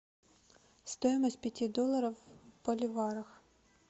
стоимость пяти долларов в боливарах